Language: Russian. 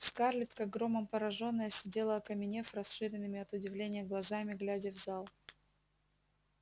скарлетт как громом поражённая сидела окаменев расширенными от удивления глазами глядя в зал